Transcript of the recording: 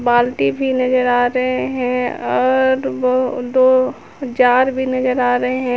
बाल्टी भी नजर आ रहे हैं और बहु दो जार भी नजर आ रहे हैं।